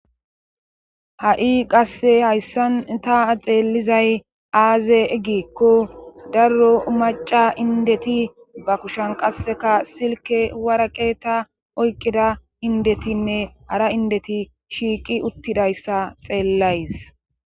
Ha7i qasse hayssan ta xeellizay aaze eggikko darro maca indeti ba kushan qasseka silke waraqe ta oykkida indetinne ara indeti shiiqi uttidayssa xeellays.